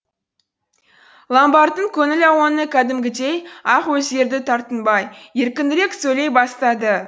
ломбардтың көңіл ауаны кәдімгідей ақ өзгерді тартынбай еркінірек сөйлей бастады